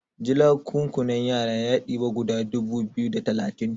julakunkunan yara ya diba guda dubu biyu da talatin